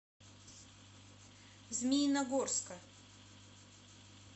змеиногорска